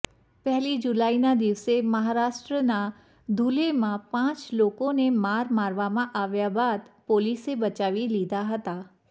પહેલી જુલાઈના દિવસે મહારાષ્ટ્રના ધુલેમાં પાંચ લોકોને માર મારવામાં આવ્યા બાદ પોલીસે બચાવી લીધા હતા